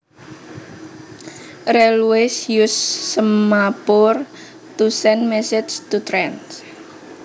Railways use semaphore to send messages to trains